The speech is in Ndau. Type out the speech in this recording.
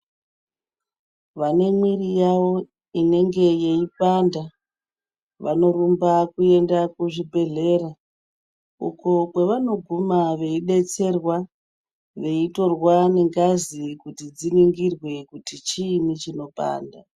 Vane mwiri yavo inenge yeipanda, vanorumba kuenda kuzvibhedhlera, uko kwevanoguma veidetserwa, veitorwa nengazi kuti dziningirwe, kuti chiini chinopanda.